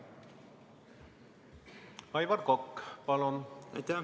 Aivar Kokk, palun!